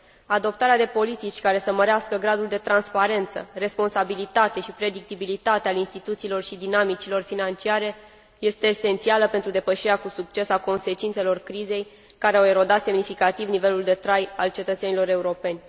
Adoptarea de politici care să mărească gradul de transparență, responsabilitate și predictibilitate a instituțiilor și dinamicilor financiare este esențială pentru depășirea cu succes a consecințelor crizei care au erodat semnificativ nivelul de trai al cetățenilor europeni.